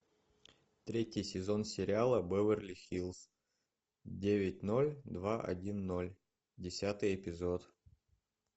третий сезон сериала беверли хиллз девять ноль два один ноль десятый эпизод